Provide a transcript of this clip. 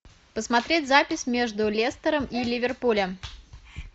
посмотреть запись между лестером и ливерпулем